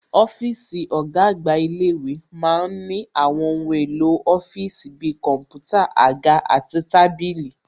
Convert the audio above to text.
Ọ́físì ọ̀gá àgbà ilé-ìwé ma ń ní àwọn ohun èlò ọ́fíìsì bi kọ̀ḿpútà, àga àti tábìlì